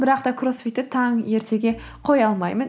бірақ та кроссфитті таң ертеге қоя алмаймын